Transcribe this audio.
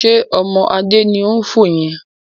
Ṣé ọmọ Adé ni ó ń fò yẹn?